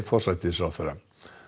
forsætisráðherra